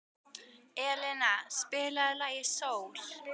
Elina, spilaðu lagið „Sól“.